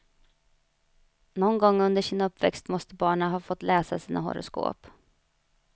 Någon gång under sin uppväxt måste barnen ha fått läsa sina horoskop.